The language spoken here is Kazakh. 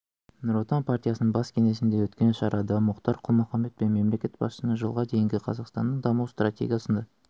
нұр отан партиясының бас кеңсесінде өткен шарада мұхтар құл-мұхаммед мемлекет басшысының жылға дейінгі қазақстанның даму стратегиясында